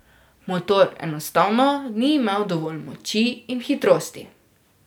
Motor enostavno ni imel dovolj moči in hitrosti.